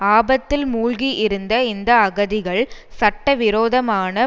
ஆபத்தில் மூழ்கியிருந்த இந்த அகதிகள் சட்ட விரோதமான